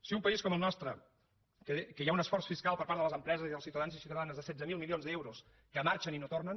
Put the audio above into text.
si un país com el nostre que hi ha un esforç fiscal per part de les empreses i dels ciutadans i ciutadanes de setze mil milions d’euros que marxen i no tornen